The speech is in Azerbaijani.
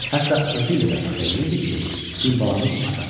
Hətta özü ilə də fəxr eləyirdi ki, Gülbalanın atasıdır.